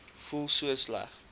voel so sleg